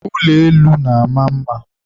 ụlọ elu na-ama mma.